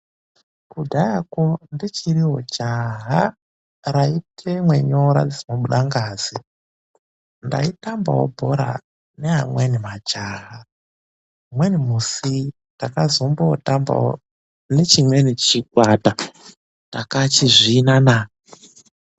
Kudhayako ndichiriwo jaha rayitemwa nyora dzinobuda ngazi, ndaitambawo bhora neamweni majaha. Mumweni musi ndakazombotambawo nechimweni chikwata takachizvina naa.